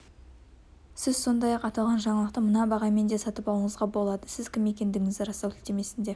сіз сондай-ақ аталған жаңалықты мына бағамен де сатып алуыңызға болады сіз кім екендігіңізді растау сілтемесіне